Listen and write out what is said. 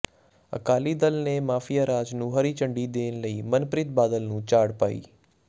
ਅਕਾਲੀ ਦਲ ਨੇ ਮਾਫੀਆ ਰਾਜ ਨੂੰ ਹਰੀ ਝੰਡੀ ਦੇਣ ਲਈ ਮਨਪ੍ਰੀਤ ਬਾਦਲ ਨੂੰ ਝਾੜ ਪਾਈ